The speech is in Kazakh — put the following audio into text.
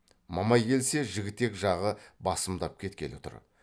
мамай келсе жігітек жағы басымдап кеткелі тұр